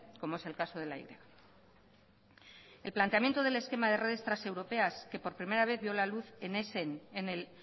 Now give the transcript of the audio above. como es el caso de la y el planteamiento del esquema de redes transeuropeas que por primera vez vio la luz en essen en el